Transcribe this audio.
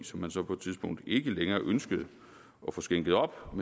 som man så på et tidspunkt ikke længere ønskede at få skænket op og